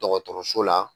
Dɔgɔtɔrɔso la